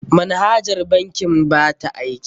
Manhajar bankin ba ta aiki.